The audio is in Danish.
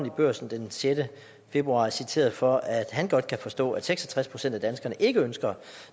i børsen den sjette februar er citeret for at han godt kan forstå at seks og tres procent af danskerne ikke ønsker